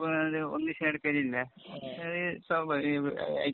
ഒന്നിച്ചു നടക്കണില്ല. അത് സ്വഭാവിക